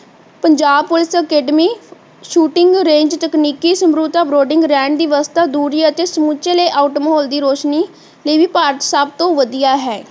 Punjab police academy shooting range ਤਕਨੀਕੀ ਰਹਿਣ ਦੀ ਵਿਵਸਥਾ ਦੂਰੀ ਅਤੇ ਸਮੁੱਚੇ layout ਮਾਹੌਲ ਦੀ ਰੋਸ਼ਨੀ ਲਈ ਵੀ ਸਬ ਤੋਂ ਵਧੀਆ ਹੈ